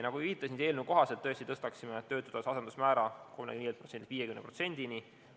Nagu ma viitasin, eelnõu kohaselt me tõstaksime töötutoetuse asendusmäära 35%-lt 50%-ni.